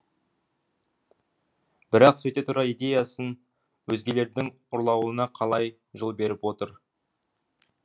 бірақ сөйте тұра идеясын өзгелердің ұрлауына қалай жол беріп отыр